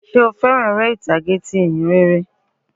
Sé o fẹ́ràn àwọn eré ìtàgé ti ìhìnrere?